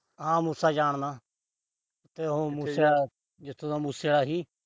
ਹਾਂ। ਮੂਸਾ ਜਾਣਦਾ, ਜਿੱਥੋਂ ਦਾ ਮੂਸੇ ਆਲਾ ਸੀ।